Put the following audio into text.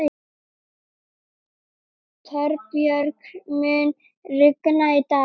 Torbjörg, mun rigna í dag?